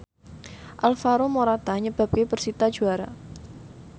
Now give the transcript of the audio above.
Alvaro Morata nyebabke persita juara